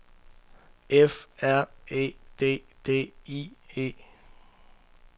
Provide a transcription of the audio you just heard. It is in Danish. F R E D D I E